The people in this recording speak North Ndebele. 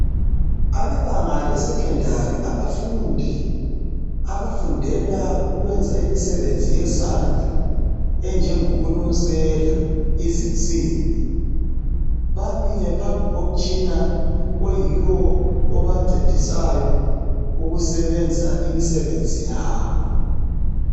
Abebanga lesecondary abafundi, abafundela ukwenza imisebenzi yezandla enjengokunusela izinsimbi bamile phambi komutshina oyiwo obancedisayo ukusebenza imisebenzi yabo.